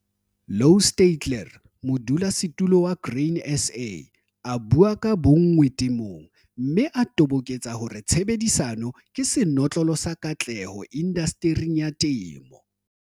Louw Steytler, Modulasetulo, Grain SA, a bua ka bonngwe temong, mme a toboketsa hore tshebedisano ke senotlolo sa katleho indastering ya temo.